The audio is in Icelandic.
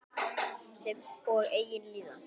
Sem og eigin líðan.